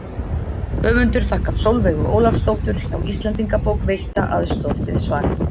Höfundur þakkar Sólveigu Ólafsdóttur hjá Íslendingabók veitta aðstoð við svarið.